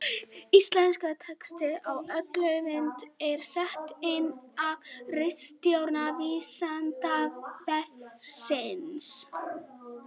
Íslenskur texti á öllum myndum er settur inn af ritstjórn Vísindavefsins.